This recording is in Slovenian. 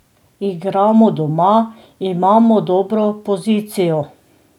Igramo doma, imamo dobro pozicijo.